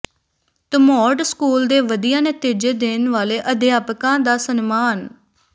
Dhamot school ਦੇ ਵਧੀਆ ਨਤੀਜੇ ਦੇਣ ਵਾਲੇ ਅਧਿਆਪਕਾਂ ਦਾ ਸਨਮਾਨ